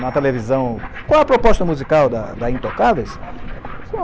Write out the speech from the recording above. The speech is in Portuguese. Na televisão... Qual a proposta musical da da Intocáveis? Eu falei, ah...